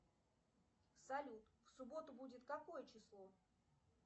салют в субботу будет какое число